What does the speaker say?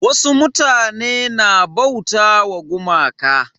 Wasu mutane na bauta ma gumaka.